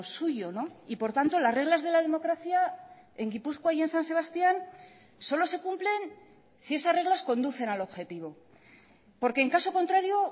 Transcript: suyo y por tanto las reglas de la democracia en gipuzkoa y en san sebastián solo se cumplen si esas reglas conducen al objetivo porque en caso contrario